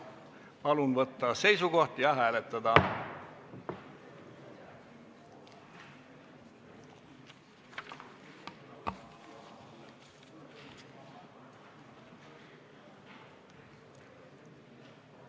Palun võtta seisukoht ja hääletada!